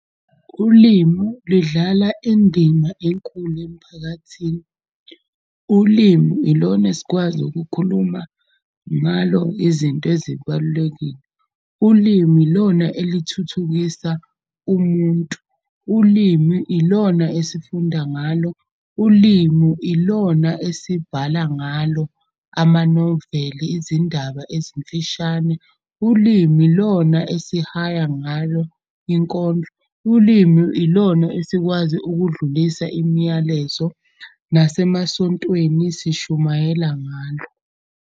Ulimu lidlala indima enkulu emphakathini. Ulimu ilona esikwazi ukukhuluma ngalo izinto ezibalulekile. Ulimi ilona elithuthukisa umuntu, ulimi ilona esifunda ngalo, ulimu ilona esibhala ngalo. Amanoveli, izindaba ezimfishane, ulimi ilona esihaya ngalo inkondlo. Ulimi ilona esikwazi ukudlulisa imiyalezo, nasemasontweni sishumayela ngalo.